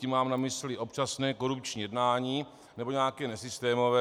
Tím mám na mysli občasné korupční jednání nebo nějaké nesystémové.